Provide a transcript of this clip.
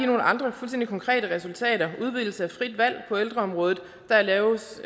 nogle andre fuldstændig konkrete resultater udvidelse af frit valg på ældreområdet der laves